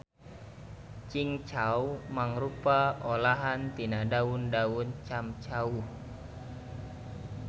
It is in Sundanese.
Cingcau mangrupa olahan tina daun daun camcauh.